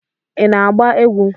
ị na-agba egwu?